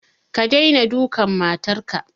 Ka daina dukan matar ka!